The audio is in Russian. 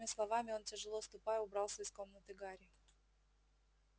с этими словами он тяжело ступая убрался из комнаты гарри